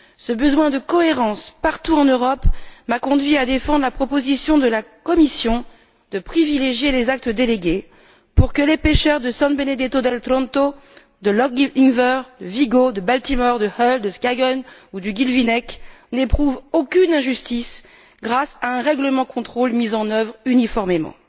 Ce besoin de cohérence, partout en Europe, m'a conduite à défendre la proposition de la Commission de privilégier les actes délégués pour que les pêcheurs de San Benedetto del Tronto, de Loch Inver, de Vigo, de Baltimore, de Hull, de Skagen ou du Guilvinec n'éprouvent aucune injustice, grâce à un règlement de contrôle mis en œuvre uniformément.